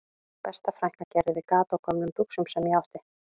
Besta frænka gerði við gat á gömlum buxum sem ég átti